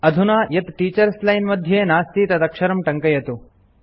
अधुना यत् teachers line मध्ये नास्ति तदक्षरं टङ्कयतु